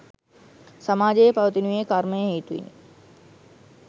සමාජයේ පවතිනුයේ කර්මය හේතුවෙනි.